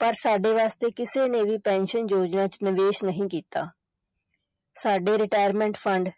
ਪਰ ਸਾਡੇ ਵਾਸਤੇ ਕਿਸੇ ਨੇ ਵੀ ਪੈਨਸਨ ਯੋਜਨਾ ਚ ਨਿਵੇਸ਼ ਨਹੀਂ ਕੀਤਾ ਸਾਡੇ retirement fund